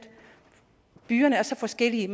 byerne er så forskellige